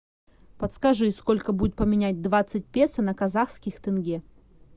подскажи сколько будет поменять двадцать песо на казахских тенге